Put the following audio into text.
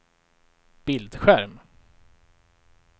bildskärm